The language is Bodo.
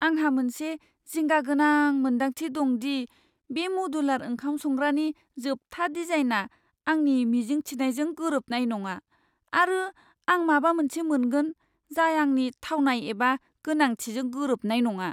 आंहा मोनसे जिंगागोनां मोन्दांथि दं दि बे मदुलार ओंखाम संग्रानि जोबथा डिजाइनआ आंनि मिजिं थिजानायजों गोरोबनाय नङा, आरो आं माबा मोनसे मोनगोन, जाय आंनि थावनाय एबा गोनांथिजों गोरोबनाय नङा।